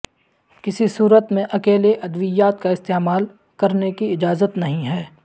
کسی صورت میں اکیلے ادویات کا استعمال کرنے کی اجازت نہیں ہے